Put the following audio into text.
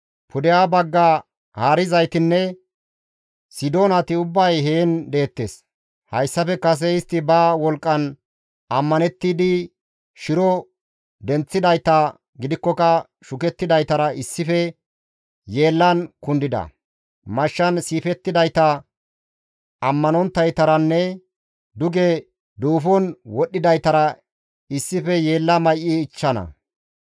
«Pudeha bagga haarizaytinne Sidoonati ubbay heen deettes; hayssafe kase istti ba wolqqan ammanettidi shiro denththidayta gidikkoka shukettidaytara issife yeellan kundida; mashshan siifettidayta ammanonttaytaranne duge duufon wodhdhidaytara issife yeella may7i ichchana.